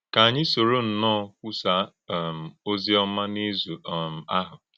Kà ányị sòró nnọọ kwúsaá um òzì ọ́mà n’ìzù̀ um áhụ̀.